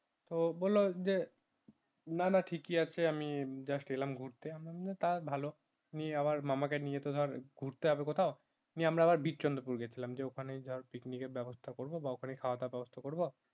ও বললো যে না না ঠিকই আছে আমি just এলাম গুরতে তা ভালো নিয়ে ধরে মামাকে নিয়ে তো ঘুরতে হবে কোথাও নিয়ে আমরা আবার বিরচন্দ্রপুর গেছিলাম ওখানেই ধরে picnic এর ব্যবস্থা করবো বা খাওয়া দেওয়ার ব্যবস্থা করবো